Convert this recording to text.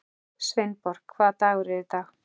Sveinborg, hvaða dagur er í dag?